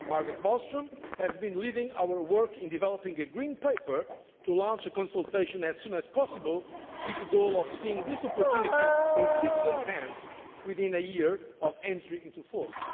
detail. Margot Wallström has been leading our work in developing a green paper to launch a consultation as soon as possible, with the goal of seeing this opportunity in citizens' hands within a year of entry into